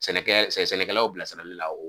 Sɛnɛ sɛnɛkɛlaw bilasirali la